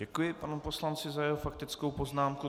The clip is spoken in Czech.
Děkuji panu poslanci za jeho faktickou poznámku.